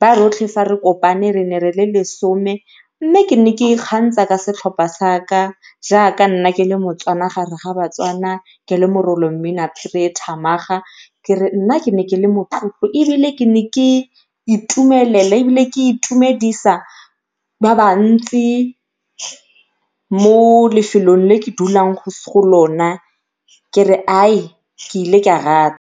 ba rotlhe ga re kopane re ne re le lesome. Mme ke ne ke ikgantsha ka setlhopha saka jaaka nna ke le moTswana gareng ga baTswana, ke le morolong mmina phiri e e thamaga ke re nna ne ke le motlotlo ebile ne ke itumelela ebile ne ke itumedisa ba bantsi mo lefolong le ke dulang go lona kere ke ile ke a rata.